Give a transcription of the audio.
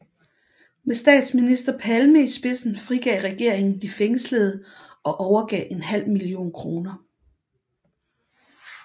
Med statsminister Palme i spidsen frigav regeringen de fængslede og overgav en halv million kroner